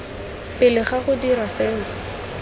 pele ga go dirwa seo